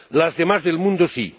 las demás del mundo, sí.